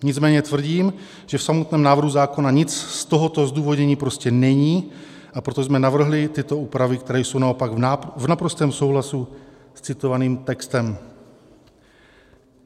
Nicméně tvrdím, že v samotném návrhu zákona nic z tohoto zdůvodnění prostě není, a proto jsme navrhli tyto úpravy, které jsou naopak v naprostém souhlasu s citovaným textem.